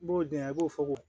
N b'o di yan i b'o fɔ ko